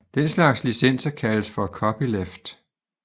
Den slags licenser kaldes for Copyleft